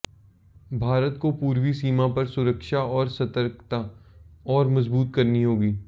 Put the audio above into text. भारत को पूर्वी सीमा पर सुरक्षा और सतर्कता और मजबूत करनी होगी